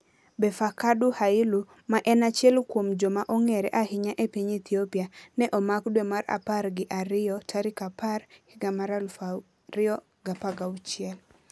Befeqadu Hailu, ma en achiel kuom joma ong'ere ahinya e piny Ethiopia, ne omak dwe mar apar gi ariyo 10, 2016.